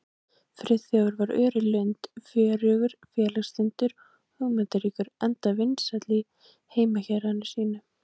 Friðþjófur var ör í lund, fjörugur, félagslyndur og hugmyndaríkur, enda vinsæll í heimahéraði sínu.